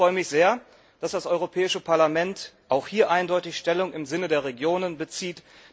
Ich freue mich sehr, dass das Europäische Parlament auch hier eindeutig Stellung im Sinne der Regionen bezieht.